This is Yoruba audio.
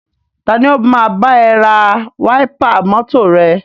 Tani o máa bá ẹ ra wáípà mọ́tọ̀ rẹ?